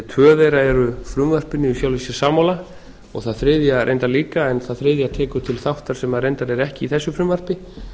tvö þeirra eru frumvarpinu í sjálfu sér sammála og það þriðja reyndar líka en það þriðja tekur til þáttar sem reyndar er ekki í þessu frumvarpi